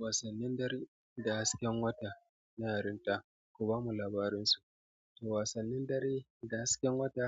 Wasannin dare da hasken wata na yarin ta ku bamu labarin su. To wasannin dare da hasken wata